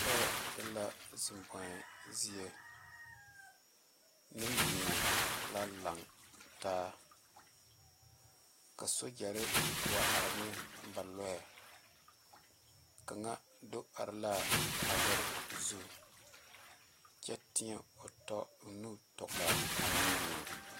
Kyɛ e la zeŋ boe zie Nenbɛro la lantaa ka sogyere wa are ne ba Lɔɛ kaŋa do are la a lɔre zu kyɛ teɛ o tɔ o nu tɔlaa Nenbɛro.